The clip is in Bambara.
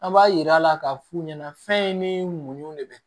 An b'a yir'a la k'a f'u ɲɛna fɛn in ni muɲu de be